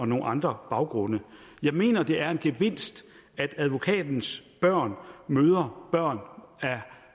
nogle andre baggrunde jeg mener det er en gevinst at advokatens børn møder børn